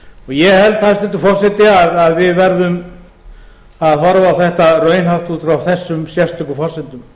ég held hæstvirtur forseti að við verðum að horfa á þetta raunhæft út frá þessum sérstöku forsendum